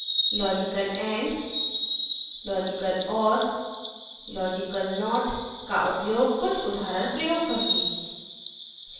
* logical and